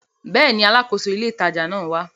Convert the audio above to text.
Bẹ́ẹ̀ni, Alákóso ilé ìtajà ńlá náà wá